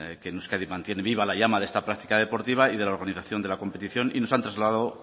que en euskadi mantiene viva la llama de esta práctica deportiva y de la organización de la competición y nos han trasladado